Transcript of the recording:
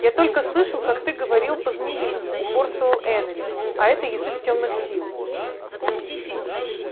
я только слышал как ты говорил по-змеиному упорствовал эрни а это язык тёмных сил